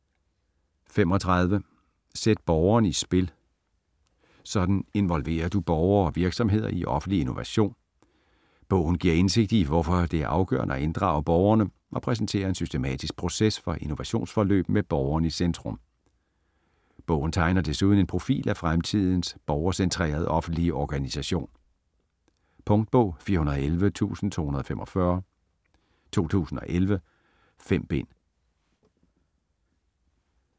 35 Sæt borgeren i spil: sådan involverer du borgere og virksomheder i offentlig innovation Bogen giver indsigt i, hvorfor det er afgørende at inddrage borgerne, og præsenterer en systematisk proces for innovationsforløb med borgeren i centrum. Bogen tegner desuden en profil af fremtidens borgercentrerede offentlige organisation. Punktbog 411245 2011. 5 bind.